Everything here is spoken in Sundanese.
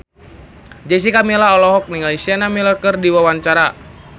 Jessica Milla olohok ningali Sienna Miller keur diwawancara